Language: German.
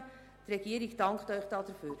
Die Regierung dankt Ihnen dafür.